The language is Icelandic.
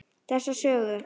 Þessa sögu.